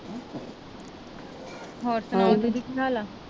ਹੋਰ ਸਨਾਓ ਦੀਦੀ ਕੀ ਹਾਲ ਆ